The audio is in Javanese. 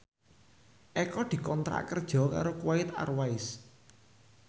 Eko dikontrak kerja karo Kuwait Airways